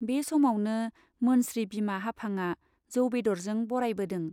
बे समावनो मोनस्रि बिमा हाफांआ जौ बेदरजों बरायबोदों।